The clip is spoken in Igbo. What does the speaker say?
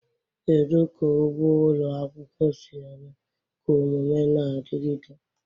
Kedu ka ugbo ụlọ akwụkwọ si eme ka omume na-adigide?